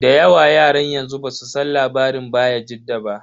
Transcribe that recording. Da yawa yaran yanzu basu san labarin bayajidda ba.